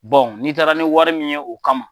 n'i taara ni wari min ye o kama,